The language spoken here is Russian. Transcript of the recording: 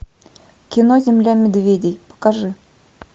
кино земля медведей покажи